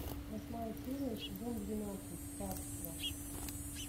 восьмая серия сезон двенадцать царство